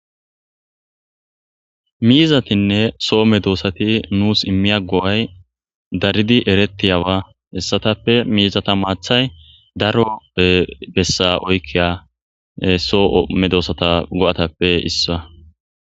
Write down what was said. miizatinne soo medoosati nuus immiya go7ay daridi eretiyawa hessatappe miizata maathay daro bessa oykkiya soo7ome doossata go7atappe issa